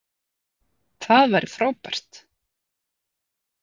Það væri frábært.